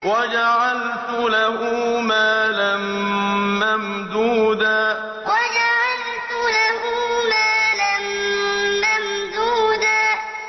وَجَعَلْتُ لَهُ مَالًا مَّمْدُودًا وَجَعَلْتُ لَهُ مَالًا مَّمْدُودًا